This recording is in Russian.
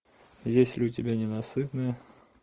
есть ли у тебя ненасытные